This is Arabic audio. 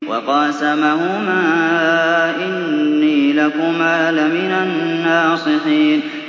وَقَاسَمَهُمَا إِنِّي لَكُمَا لَمِنَ النَّاصِحِينَ